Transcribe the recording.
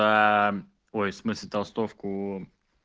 ой смысле толстовку